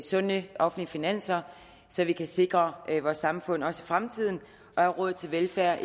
sunde offentlige finanser så vi kan sikre vores samfund også i fremtiden og har råd til velfærd